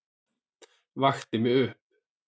Vakti mig upp.